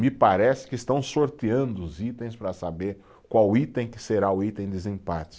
Me parece que estão sorteando os itens para saber qual item que será o item desempate.